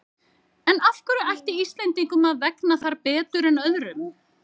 En af hverju ætti Íslendingum að vegna þar betur en öðrum?